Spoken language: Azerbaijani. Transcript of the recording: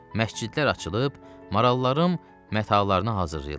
Məscidlər açılıb, marallarım matalarını hazırlayırlar.